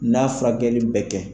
N'a furakɛli bɛ kɛ